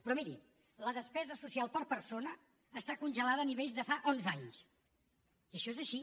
però miri la despesa social per persona està congelada a nivells de fa onze anys i això és així